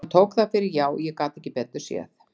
Og hann tók það fyrir já, ég gat ekki betur séð.